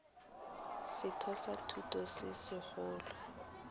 setheo sa thuto se segolo